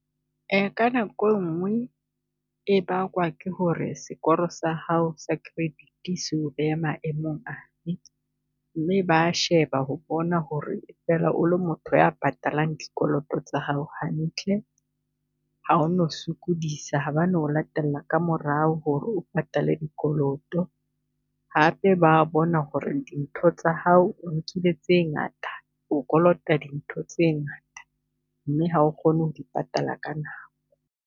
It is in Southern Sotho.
Ka nako engwe e bakwa ke ho re sekoro sa hao sa credit se o beha maemong afe, mme ba a sheba ho bona ho re e fela o le motho ya patalang dikoloto tsa hao hantle. Ha o no sokodisa, ha ba no o latela kaa morao ho re o patale dikoloto hape ba a bona ho re dintho tsa hao o nkile tse ngata o kolota dintho tse ngata, mme hao kgone ho di patala ka nako.